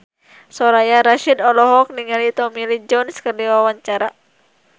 Soraya Rasyid olohok ningali Tommy Lee Jones keur diwawancara